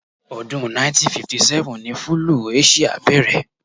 Ọdún 1957 ní fúlúù Aṣia bẹ̀rẹ̀.